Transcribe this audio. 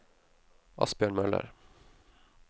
Asbjørn Møller